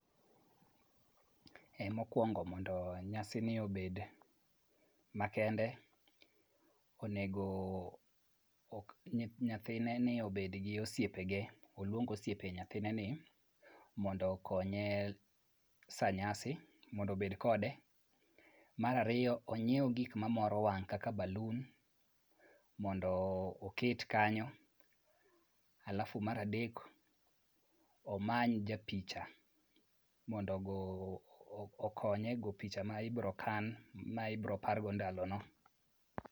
Mokwongo mondo nyasini obed makende, onego nyathineni obed gi osiepene. Oluong osiepe nyathineni mondo okonye sa nyasi, mondo obed kode. Mar ariyo, onyiew gik mamoro wang' kaka balun mondo oket kanyo. Halafu mar adek, omany japicha mondo okonye e goyo picha ma ibiro kan ma ibiro pargo ndalono.